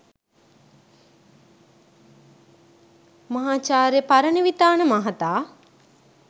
මහාචාර්ය පරණවිතාන මහතා